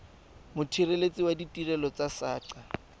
mothelesi wa ditirelo tsa saqa